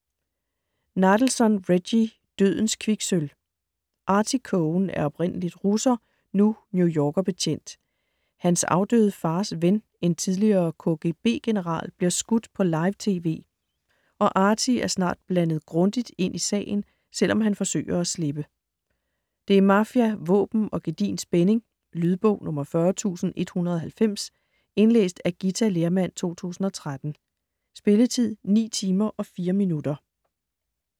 Nadelson, Reggie: Dødens kviksølv Artie Cohen er oprindelig russer, nu New Yorker-betjent, hans afdøde fars ven, en tidligere KGB-general, bliver skudt på live-TV, og Artie er snart blandet grundigt ind i sagen, selvom han forsøger at slippe. Det er mafia, våben og gedigen spænding. Lydbog 40190 Indlæst af Githa Lerhmann, 2013. Spilletid: 9 timer, 4 minutter.